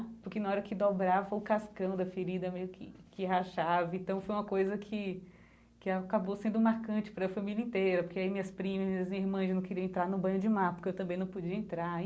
Porque na hora que dobrava, o cascão da ferida meio que que rachava, então foi uma coisa que que acabou sendo marcante para a família inteira, porque aí minhas primas e irmãs não queriam entrar no banho de mar, porque eu também não podia entrar.